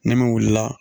Ni min wulila